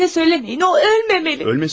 Elə deməyin, o ölməməlidir!